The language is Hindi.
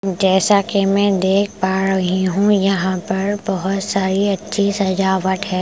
जैसा कि मैं देख पा रही हूँ यहाँ पर बहुत सारी अच्छी सजावट है ।